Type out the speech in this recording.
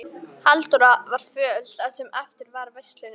Halldóra var föl það sem eftir var veislunnar.